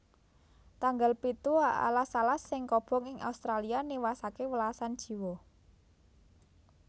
Tanggal pitu Alas alas sing kobong ing Australia niwasaké welasan jiwa